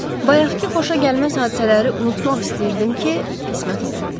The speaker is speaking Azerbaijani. Bayaqkı xoşagəlməz hadisələri unutmaq istəyirdim ki, qismət olmadı.